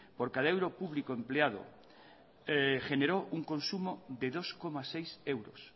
por cada euro público empleado generó un consumo de dos coma seis euros